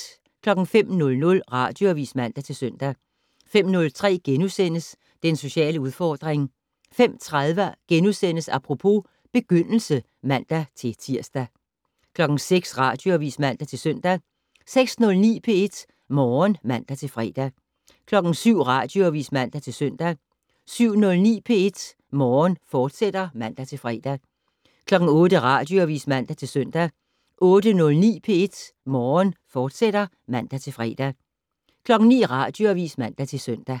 05:00: Radioavis (man-søn) 05:03: Den sociale udfordring * 05:30: Apropos: Begyndelse *(man-tir) 06:00: Radioavis (man-søn) 06:09: P1 Morgen (man-fre) 07:00: Radioavis (man-søn) 07:09: P1 Morgen, fortsat (man-fre) 08:00: Radioavis (man-søn) 08:09: P1 Morgen, fortsat (man-fre) 09:00: Radioavis (man-søn)